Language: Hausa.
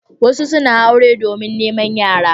Wasu suna aure domin neman yara.